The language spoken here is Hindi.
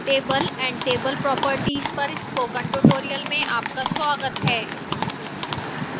table and table properties पर spoken tutorial में आपका स्वागत है